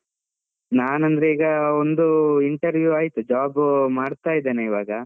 ನಾನ್ ಅಂದ್ರೆ ಈಗ ಒಂದು interview ಆಯ್ತು, job ಮಾಡ್ತಾ ಇದ್ದೇನೆ ಇವಾಗ.